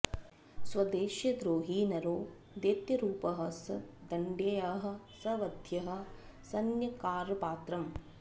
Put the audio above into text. स्वदेशस्य द्रोही नरो दैत्यरूपः स दण्ड्यः स वध्यः स न्यक्कारपात्रम्